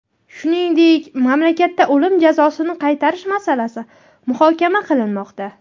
Shuningdek, mamlakatda o‘lim jazosini qaytarish masalasi muhokama qilinmoqda.